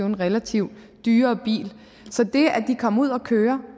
en relativt dyrere bil så det at de kommer ud at køre